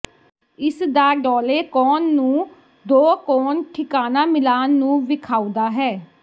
ਇਸ ਦਾ ਡੌਲੇ ਕੋਣ ਨੂੰ ਦੋ ਕੋਨ ਠਿਕਾਣਾ ਮਿਲਾ ਨੂੰ ਵੇਖਾਉਦਾ ਹੈ